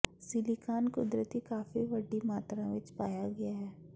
silicon ਕੁਦਰਤੀ ਕਾਫ਼ੀ ਵੱਡੀ ਮਾਤਰਾ ਵਿਚ ਪਾਇਆ ਗਿਆ ਹੈ